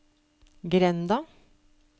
grenda